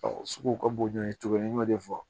sugu ka bon n ye tugun n y'o de fɔ